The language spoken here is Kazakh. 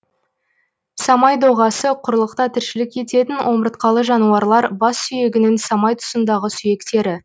самай доғасы құрлықта тіршілік ететін омыртқалы жануарлар бас сүйегінің самай тұсындағы сүйектері